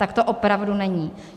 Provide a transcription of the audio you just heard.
Tak to opravdu není.